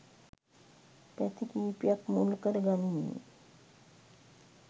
පැති කිහිපයක්‌ මුල්කර ගනිමිනි.